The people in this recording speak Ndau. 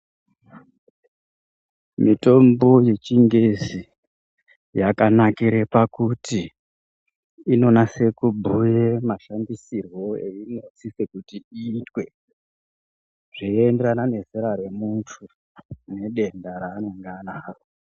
Mitombo ye chingezi yaka nakire pakuti ino nase ku bhuye mashandisirwo eyino siswe kuti iyitwe zvei enderana ne zera re muntu ne denda ra anenge anaro.